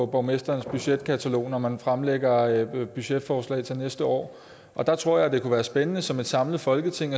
borgmesterens budgetkatalog når man fremlægger budgetforslag til næste år der tror jeg det kunne være spændende som et samlet folketing